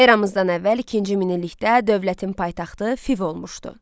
Eramızdan əvvəl ikinci minillikdə dövlətin paytaxtı Fiv olmuşdu.